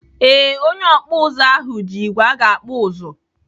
Ee, onye ọkpụ ụzụ ahụ ji igwe aga akpụ ụzụ.